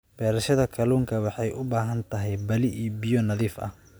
Beerashada kalluunka waxay u baahan tahay balli biyo nadiif ah.